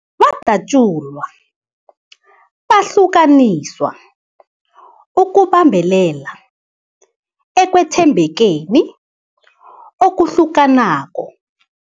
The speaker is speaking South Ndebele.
Badatjulwa, bahlukaniswa ukubambelela ekwethembekeni okuhlukanako.